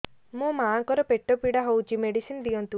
ମୋ ମାଆଙ୍କର ପେଟ ପୀଡା ହଉଛି ମେଡିସିନ ଦିଅନ୍ତୁ